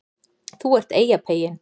ÞÚ ERT EYJAPEYINN